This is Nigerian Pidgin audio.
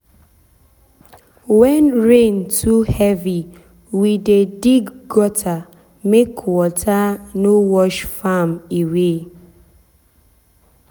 when rain too heavy we dey dig gutter make water no wash farm away. away.